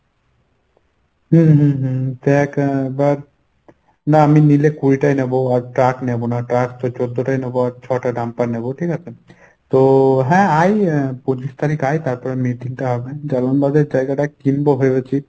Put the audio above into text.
হুম হুম হুম না আমি নিলে কুড়িটাই নেব আর truck নেবো না truck তো চেদ্দটাই নেবো আর ছ’টা dumper নেবো। ঠিকাছে? তো হ্যাঁ আয় এর পঁচিশ তারিখ আয় তারপর জালানবাদ জায়গাটা কিনবো ভেবেছি